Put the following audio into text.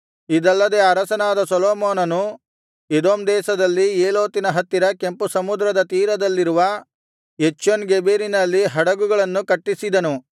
ಇದಲ್ಲದೆ ಅರಸನಾದ ಸೊಲೊಮೋನನು ಎದೋಮ್ ದೇಶದಲ್ಲಿ ಏಲೋತಿನ ಹತ್ತಿರ ಕೆಂಪುಸಮುದ್ರದ ತೀರದಲ್ಲಿರುವ ಎಚ್ಯೋನ್ಗೆಬೆರಿನಲ್ಲಿ ಹಡಗುಗಳನ್ನು ಕಟ್ಟಿಸಿದನು